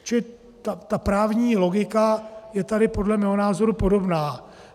Čili ta právní logika je tady podle mého názoru podobná.